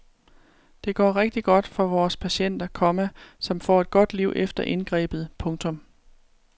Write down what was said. Det går rigtigt godt for vores patienter, komma som får et godt liv efter indgrebet. punktum